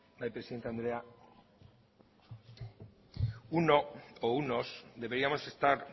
bai presidente andrea uno o unos deberíamos estar